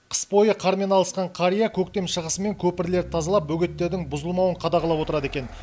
қыс бойы қармен алысқан қария көктем шығысымен көпірлерді тазалап бөгеттердің бұзылмауын қадағалап отырады екен